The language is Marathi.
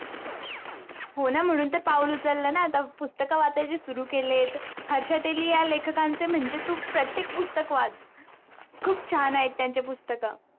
हो न म्हणून तर पाऊल न आता पुस्तक वाचायला सुरू केलेत हर्षा तेली या लेखकांचे म्हणजे तू प्रत्येक पुस्तक वाच खूप छान आहेत त्यांचे पुस्तक